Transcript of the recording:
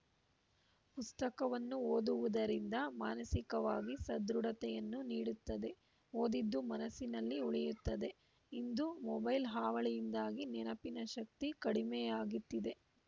ಪುಸ್ತಕವನ್ನು ಓದುವುದರಿಂದ ಮಾನಸಿಕವಾಗಿ ಸದೃಢತೆಯನ್ನು ನೀಡುತ್ತದೆ ಓದಿದ್ದು ಮನಸ್ಸಿನಲ್ಲಿ ಉಳಿಯುತ್ತದೆ ಇಂದು ಮೊಬೈಲ್‌ ಹಾವಳಿಯಿಂದಾಗಿ ನೆನಪಿನ ಶಕ್ತಿ ಕಡಿಮೆಯಾಗಿತ್ತಿದೆ